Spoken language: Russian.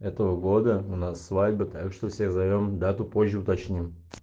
этого года у нас свадьба так что всех зовём дату позже уточним